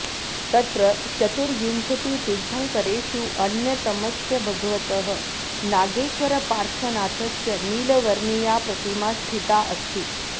तत्र चतुर्विंशतितीर्थङ्करेषु अन्यतमस्य भगवतः नागेश्वरपार्श्वनाथस्य नीलवर्णीया प्रतिमा स्थिता अस्ति